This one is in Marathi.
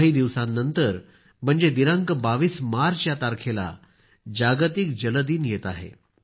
काही दिवसांनंतर म्हणजे दिनांक 22 मार्च या तारखेला जागतिक जल दिन येत आहे